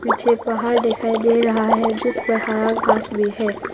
पीछे पहाड़ दिखाई दे रहा है जिस प्रकार आकाश भी है।